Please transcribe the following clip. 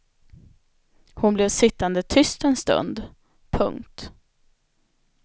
Hon blev sittande tyst en stund. punkt